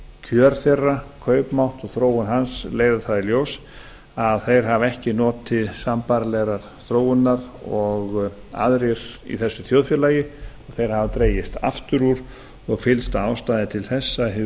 kjör þeirra kaupmátt og þróun hans leiða í ljós að þeir hafa ekki notið sambærilegrar þróunar og aðrir í þessu þjóðfélagi þeir hafa dregist aftur úr og fyllsta ástæða er til þess að